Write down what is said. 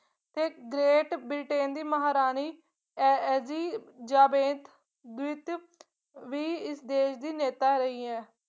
ਤੇ great Britain ਦੀ ਮਹਾਰਾਣੀ ਐ elizabeth ਵੀ ਸੀ ਦੇਸ਼ ਦੀ ਨੇਤਾ ਰਹੀ ਹੈ